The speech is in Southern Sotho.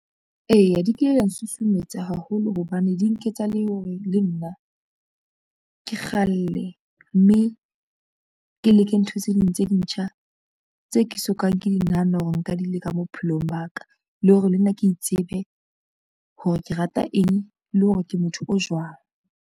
Eya di kile da nsusumetsa haholo hobane di nketsa le hore le nna, ke kgalle mme, ke leke ntho tse ding tse ntjha tse ke sokang ke nahana hore nka di leka bophelong ba ka. Le hore le nna ke itsebe hore ke rata eng le hore ke motho o jwang.